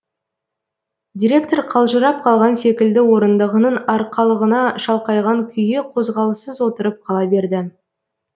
директор қалжырап қалған секілді орындығының арқалығына шалқайған күйі қозғалыссыз отырып қала берді